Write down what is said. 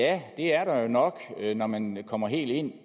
ja det er der nok når man kommer helt ind